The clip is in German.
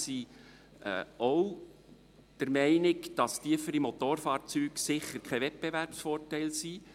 Wir sind auch der Meinung, dass tiefere Motorfahrzeugsteuern sicher kein Wettbewerbsvorteil sind.